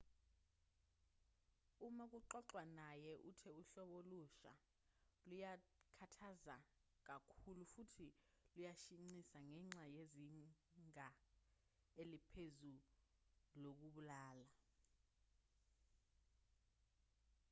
uma kuxoxwa naye uthe uhlobo olusha luyakhathaza kakhulu futhi luyashaqisa ngenxa yezinga eliphezulu lokubulala